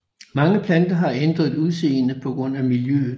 Mange planter har ændret udseende på grund af miljøet